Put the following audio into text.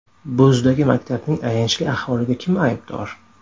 Bo‘zdagi maktabning ayanchli ahvoliga kim aybdor?.